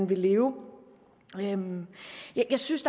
vil leve jeg synes